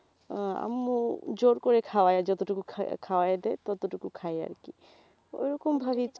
আম্মু জোড় করে খাওয়ায় যতটুকু খাওয়ায়ে দেয় ততটুকু খাই আরকি ওইরকম ভাবেই